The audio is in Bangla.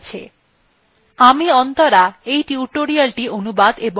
এই বিষয় বিস্তারিত তথ্য নিম্নলিখিত linkএ আছে